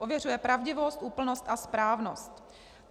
Ověřuje pravdivost, úplnost a správnost.